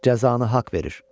Cəzanı haqq verir.